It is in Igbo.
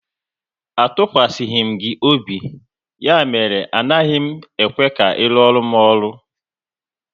A tụkwasịghi m gị obi, ya mere na agaghị m ekwe ka ị ruoru m ọrụ!